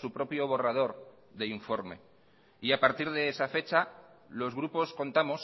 su propio borrador de informe y a partir de esa fecha los grupos contamos